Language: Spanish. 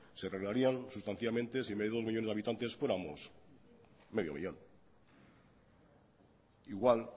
se arreglarían sustancialmente si en vez de dos millónes de habitantes fuéramos medio millón igual